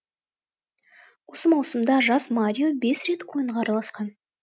осы маусымда жас марио бес рет ойынға араласқан